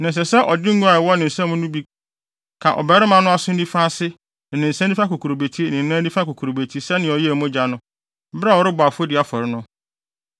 Na ɛsɛ sɛ ɔde ngo a ɛwɔ ne nsam no bi ka ɔbarima no aso nifa ase ne ne nsa nifa kokurobeti ne ne nan nifa kokurobeti sɛnea ɔyɛɛ mogya no, bere a ɔrebɔ afɔdi afɔre no.